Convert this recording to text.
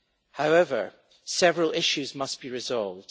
However, several issues must be resolved.